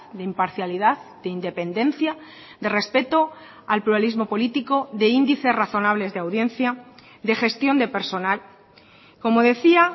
de imparcialidad de independencia de respeto al pluralismo político de índices razonables de audiencia de gestión de personal como decía